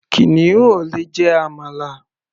Kìnìún ò lè jẹ àmàlà.